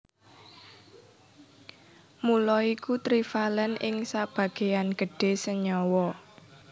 Mula iku trivalèn ing sebagéyan gedhé senyawa